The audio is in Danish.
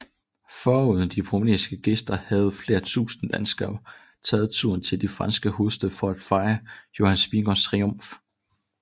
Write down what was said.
Foruden de prominente gæster havde flere tusinde danskere taget turen til den franske hovedstad for at fejre Jonas Vingegaards triumf